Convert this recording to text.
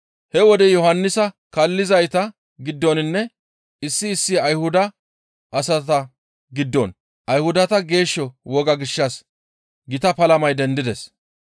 He wode Yohannisa kaallizayta giddoninne issi issi Ayhuda asata giddon Ayhudata geesho wogaa gishshas gita palamay dendides.